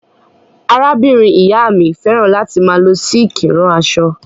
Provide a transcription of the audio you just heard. Arábìnrin-ìyá mi fẹ́ràn láti máa lọ sííkì rán aṣọ.